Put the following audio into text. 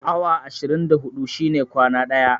Awa ashirin da huɗu shine kwana ɗaya